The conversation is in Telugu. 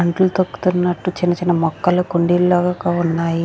మంటలు తొక్కుతున్నటు చిన్న చిన్న మొక్కలు కుండీలకా ఉన్నాయి.